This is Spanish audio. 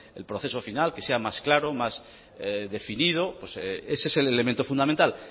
el proceso final que sea más claro más definido ese es el elemento fundamental